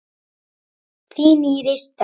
Þín Íris Dögg.